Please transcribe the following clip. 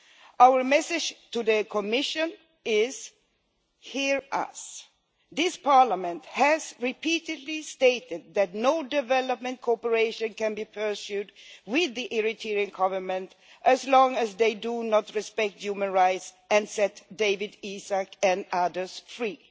Our message to the Commission is hear us! This Parliament has repeatedly stated that no development cooperation can be pursued with the Eritrean Government as long as they do not respect human rights and set Dawit Isaak and others free.